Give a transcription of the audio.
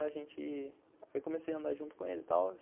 Aí comecei a andar junto com ele e tal.